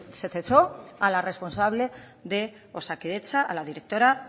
se cesó a la responsable de osakidetza a la directora